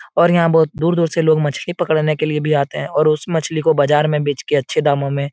और यहाँ बहोत दूर-दूर से लोग मछ्ली पकड़ने के लिए भी आते हैं और उस मछ्ली को बाजार में बेच के अच्छे दामो में --